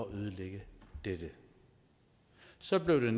ødelægge dette så blev der